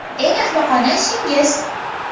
– Eng ahmoqona ishingiz?